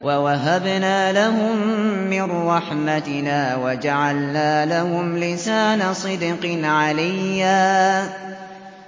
وَوَهَبْنَا لَهُم مِّن رَّحْمَتِنَا وَجَعَلْنَا لَهُمْ لِسَانَ صِدْقٍ عَلِيًّا